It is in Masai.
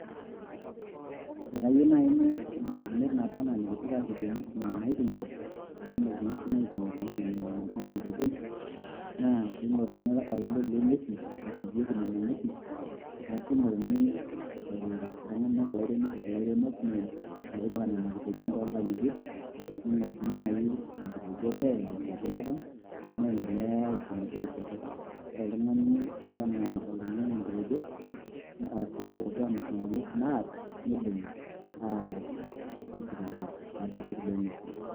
Akayieu naaji ibarakinot Kuna nikipikita eng'uesin naiting'ito amu kumok ing'uesin naiting'ito enaa Nena naaji ingitejon naa pei ng'oruni olale loo nguesin orpieki Nena ng'uesin arashu eing'oruni eishori ilairemok metipika Nena kitejon too ng'ang'itie niing'orr sii enkitejo o wenkitejo elipong' niing'orr metoishoto ore oltung'ani ooba enaa oloinyiang'u enkitejo arashu iloopuo Aamir Nena ng'uesin naata neibung'i Ayaa aisitaaki lelo arripok loo ng'uesin.